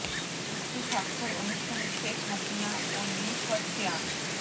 চুক্তি স্বাক্ষর অনুষ্ঠানে শেখ হাসিনা ও লি খ্য ছিয়াং